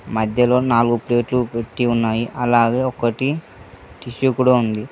మధ్యలో నాలుగు ప్లేట్లు పెట్టి ఉన్నాయి అలాగే ఒకటి టిష్యూ కూడా ఉంది.